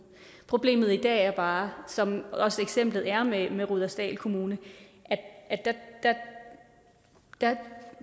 problemet i dag er bare som også eksemplet er med med rudersdal kommune at der